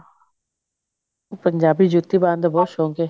ਪੰਜਾਬੀ ਜੁੱਤੀ ਪਾਉਣ ਦਾ ਬਹੁਤ ਸ਼ੌਂਕ ਹੈ